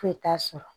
Foyi t'a sɔrɔ